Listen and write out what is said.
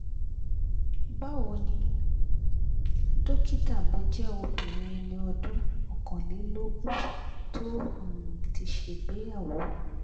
bawo nì dókítà mo je obirin eni ọdún okanlelogun to um ti ṣègbéyàwó